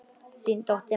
Þín dóttir, María Marta.